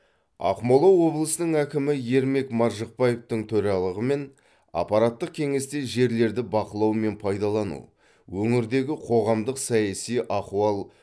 ақмола облысының әкімі ермек маржықпаевтың төрағалығымен аппараттық кеңесте жерлерді бақылау мен пайдалану өңірдегі қоғамдық саяси ахуал